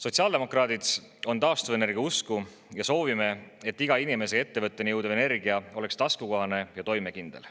Sotsiaaldemokraadid on taastuvenergia usku ja me soovime, et iga inimese ja ettevõtteni jõudev energia oleks taskukohane ja toimekindel.